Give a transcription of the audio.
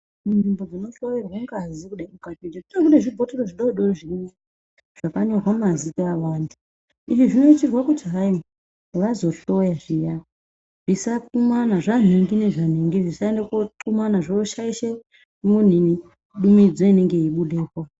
Munzvimbo dzinohloyerwe ngazi kudai munenge muine zvibhotoro zvidoodori zvirimo zvakanyorwa mazita evantu izvi zvinoitirwa kuti hayi vazohloya zviya zvanhingi nezvaningi zvisaende kokumana zvoshaishe dumidzo inonga yeibudepo.